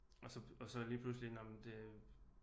Og så lige pludselig nåh men det